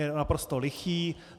Je naprosto lichý.